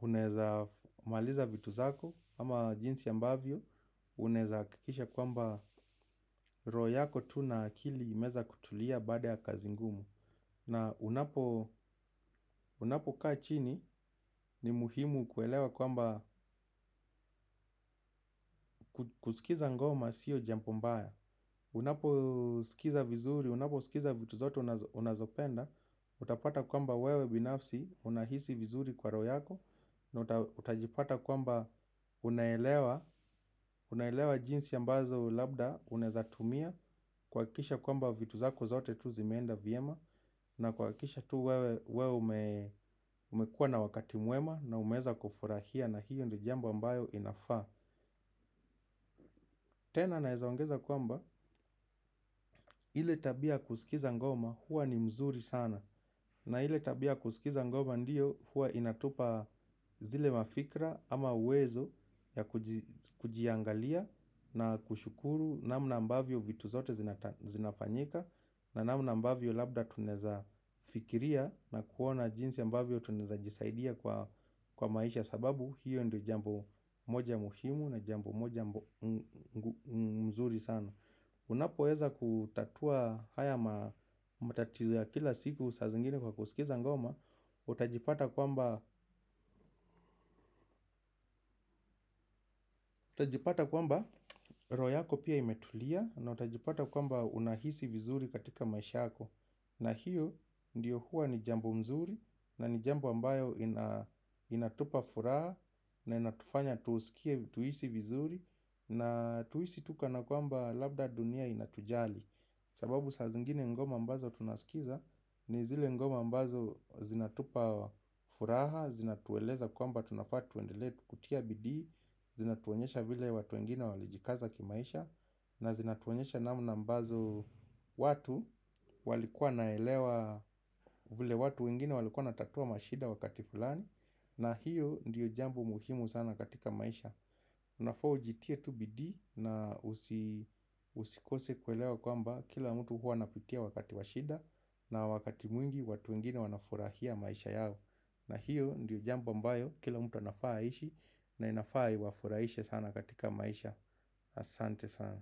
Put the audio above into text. unaweza maliza vitu zako ama jinsi ambavyo unaweza hakikisha kwamba roho yako tu na akili imeweza kutulia baada ya kazi ngumu. Na unapokaa chini ni muhimu kuelewa kwamba kusikiza ngoma siyo jambo mbaya. Unaposikiza vizuri, unaposikiza vitu zote unazopenda. Utapata kwamba wewe binafsi unahisi vizuri kwa roho yako. Na utajipata kwamba unaelewa jinsi ambazo labda unaweza tumia kuhakikisha kwamba vitu zako zote tu zimeenda vyema na kuhakikisha tu wewe umekuwa na wakati mwema na umeweza kufurahia na hiyo ndiyo jambo ambayo inafaa. Tena naweza ongeza kwamba ile tabia ya kusikiza ngoma huwa ni mzuri sana. Na ile tabia ya kusikiza ngoma ndiyo huwa inatupa zile mafikira ama uwezo ya kujiangalia na kushukuru namna ambavyo vitu zote zinafanyika. Na namna ambavyo labda tunaweza fikiria na kuona jinsi ambavyo tunaweza jisaidia kwa maisha sababu hiyo ndiyo jambo moja muhimu na jambo moja mzuri sana. Unapoweza kutatua haya matatizo ya kila siku saa zingine kwa kusikiza ngoma. Utajipata kwamba utajipata kwamba roho yako pia imetulia na utajipata kwamba unahisi vizuri katika maisha yako. Na hiyo ndiyo huwa ni jambo mzuri na ni jambo ambayo inatupa furaha na inatufanya tusikie tuhisi vizuri na tuhisi tu kana kwamba labda dunia inatujali. Sababu saa zingine ngoma ambazo tunasikiza ni zile ngoma ambazo zinatupa furaha, zinatueleza kwamba tunafaa tuendelee kutia bidii, zinatuonyesha vile watu wengine walijikaza kimaisha. Na zinatuonyesha namna ambazo watu walikuwa wanaelewa vile watu wengine walikuwa wanatatua mashida wakati fulani. Na hiyo ndiyo jambo muhimu sana katika maisha. Unafaa ujitie tu bidii na usikose kuelewa kwamba kila mtu huwa anapitia wakati wa shida. Na wakati mwingi watu wengine wanafurahia maisha yao. Na hiyo ndiyo jambo ambayo kila mtu anafaa aishi. Na inafaa iwafurahishe sana katika maisha asante sana.